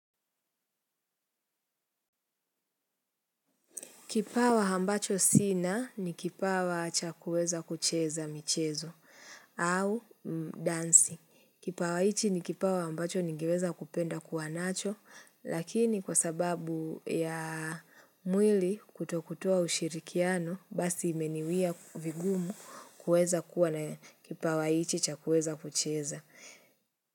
Kipawa hambacho sina ni kipawa chakueza kucheza michezo au dansi. Kipawa ichi ni kipawa hambacho ningeweza kupenda kuwanacho lakini kwa sababu ya mwili kutokutua ushirikiano basi imeniwia vigumu kueza kuwa na kipawa ichi chakueza kucheza.